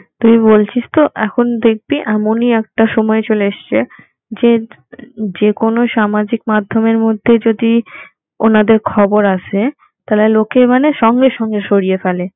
তুই বলছিস তো এখন দেখবি এমনি একটা সময় চলে এসছে যে যে কোনো সামাজিক মাধমের মধ্যে যদি ওনাদের খবর আসে তাইলে লোকে মানে সঙ্গে সঙ্গে সরিয়ে ফেলে